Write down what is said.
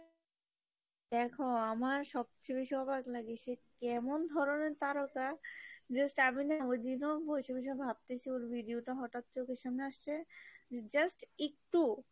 দেখো আমার সবচেয়ে বেশি অবাক লাগে সে কেমন ধরণের তারকা যে stebin এ ওইদিনও বসে বসে ভাবতেসি ওর video টা হটাৎ চোখের সামনে আসসে just একটু